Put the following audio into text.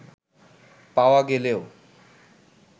পাওয়া গেলেও